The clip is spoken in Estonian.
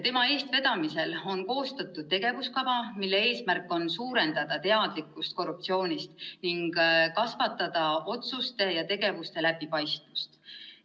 Tema eestvedamisel on koostatud tegevuskava, mille eesmärk on suurendada teadlikkust korruptsioonist ning kasvatada otsuste ja tegevuste läbipaistvust.